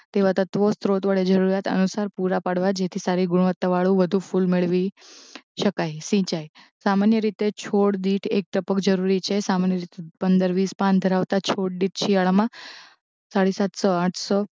તેવાં તત્વો સ્ત્રોત વડે જરૂરિયાત અનુસાર પૂરાં પાડવાં જેથી સારી ગુણવત્તાવાળું વધુ ફૂલ મેળવી શકાય સિંચાઇ સામાન્ય રીતે છોડ દીઠ એક ટપક જરૂરી છે સામાન્ય રીત પંદર વીસ પાન ધરાવતાં છોડ દીઠ શિયાળામાં સાડી સાતસો આઠસો